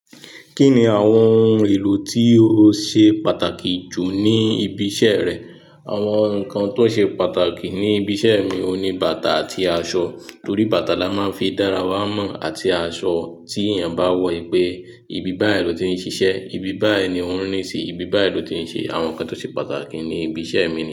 Kí ni àwọn oun èlò tí o ṣe pàtàkì jù ní ibi iṣẹ́ rẹ? Àwọn nǹkan tó ṣe pàtàkì ní ibi iṣẹ́ mi ni bàtà àti aṣọ. Nítorí bàtà la máa ń fi dára wá mọ̀ àti aṣọ tí èèyàn bá wọ̀ pé ibi báyìí ló ti ń ṣiṣẹ́, ibi báyìí ni ó ń rí síi, ibi báyìí ló ti ń ṣe. Àwọn nǹkan tó ṣe pàtàkì ní ibi iṣẹ́ mi.